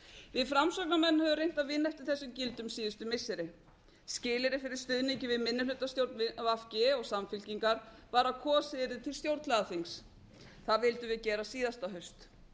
við framsóknarmenn höfum reynt að vinna eftir þessum gildum síðustu missirin skilyrði fyrir stuðning við minnihlutastjórn v g og samfylkingar var að kosið yrði til stjórnlagaþings það vildum við gera síðasta haust